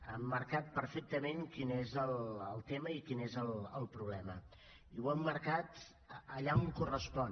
ha emmarcat perfectament quin és el tema i quin és el problema i ho ha emmarcat allà on correspon